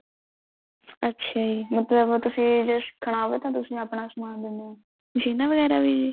ਅੱਛਾ ਜੀ ਮਤਲਬ ਤੁਸੀਂ ਜੇ ਸਿੱਖਣਾ ਹੋਵੇ ਤਾਂ ਤੁਸੀਂ ਸਮਾਨ ਦਿਨੇ ਓ ਮਸ਼ੀਨਾ ਵਗੈਰਾ ਵੀ